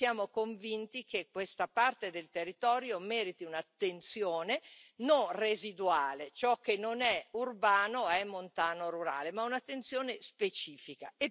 Noi siamo convinti che questa parte del territorio meriti un'attenzione non residuale, ciò che non è urbano e montano è rurale, ma un'attenzione specifica.